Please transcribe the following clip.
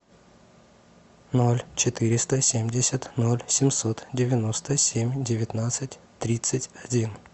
ноль четыреста семьдесят ноль семьсот девяносто семь девятнадцать тридцать один